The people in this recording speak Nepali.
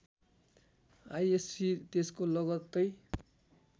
आइएस्सी त्यसको लगत्तै